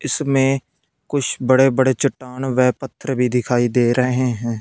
इसमें कुछ बड़े बड़े चट्टान वे पत्थर भी दिखाई दे रहे हैं।